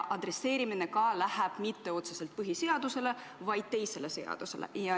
Adresseeritud ei ole see mitte otseselt põhiseadusele, vaid teisele seadusele.